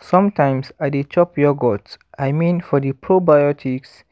sometimes i dey chop yogurt i mean for the probiotics